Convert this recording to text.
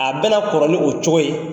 A bɛna kɔrɔ ni o cogo ye.